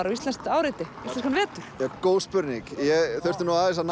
og íslenskt áreiti íslenskan vetur góð spurning ég þurfti nú aðeins að